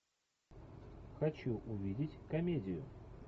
хочу увидеть комедию